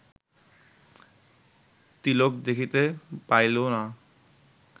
তিলক দেখিতে পাইল না